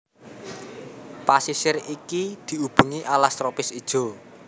Pasisir iki diubengi alas tropis ijo